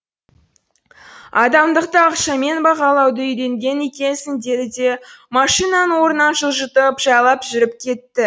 адамдықты ақшамен бағалауды үйренген екенсің деді де машинаны орнынан жылжытып жайлап жүріп кетті